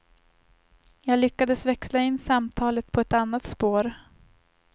Jag lyckades växla in samtalet på ett annat spår.